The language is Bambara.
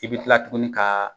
I b'i kila tuguni kaa